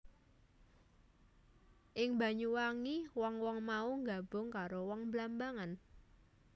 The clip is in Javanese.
Ing Banyuwangi wong wong mau nggabung karo wong Blambangan